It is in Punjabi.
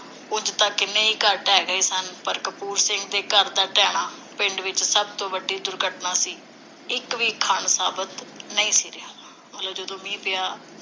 ਉਂਝ ਤਾਂ ਕਿੰਨੇ ਹੀ ਘਰ ਢਹਿ ਗਏ ਸਨ, ਪਰ ਕਪੂਰ ਸਿੰਘ ਦਾ ਘਰ ਦਾ ਢਹਿਣਾ ਪਿੰਡ ਵਿਚ ਸਭ ਤੋਂ ਵੱਡੀ ਦੁਰਘਟਨਾ ਸੀ। ਇਕ ਵੀ ਖਣ ਸਾਬਤ ਨਹੀਂ ਸੀ ਰਿਹਾ। ਮਤਲਬ ਜਦੋਂ ਮੀਂਹ ਪਿਆ,